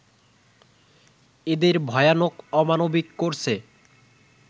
এদের ভয়ানক অমানবিক করছে